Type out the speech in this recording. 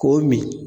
K'o min